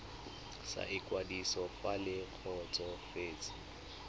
sa ikwadiso fa le kgotsofetse